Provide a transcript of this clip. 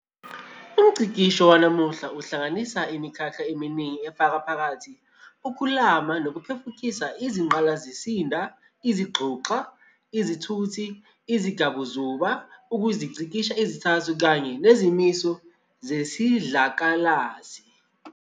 UmNgcikisho wanamuhla uhlanganisa imikhakha eminingi efaka phakathi ukuklama nokuphefukisa ingqalasizinda, izinguxa, izithuthi, izingabazuba, ukungcikisha izithako, kanye nezimiso zesidlakalasi.